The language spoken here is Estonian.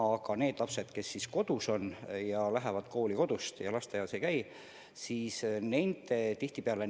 Seni on need lapsed, kes on kodus ja lähevad kooli kodust, tihtipeale tähelepanu alt väljas.